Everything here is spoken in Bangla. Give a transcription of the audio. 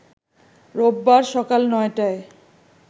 রোববার সকাল ৯টায়